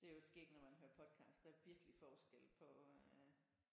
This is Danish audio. Det er i øvrigt skægt når man hører podcasts der er virkelig forskel på øh